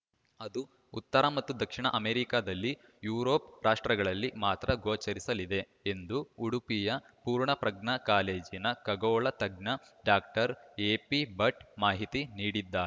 ಅದು ಉತ್ತರ ಮತ್ತು ದಕ್ಷಿಣ ಅಮೆರಿಕದಲ್ಲಿ ಯುರೋಪ್‌ ರಾಷ್ಟ್ರಗಳಲ್ಲಿ ಮಾತ್ರ ಗೊಚರಿಸಲಿದೆ ಎಂದು ಉಡುಪಿಯ ಪೂರ್ಣಪ್ರಜ್ಞಾ ಕಾಲೇಜಿನ ಖಗೋಳ ತಜ್ಞ ಡಾಕ್ಟರ್ ಎಪಿಭಟ್‌ ಮಾಹಿತಿ ನೀಡಿದ್ದಾ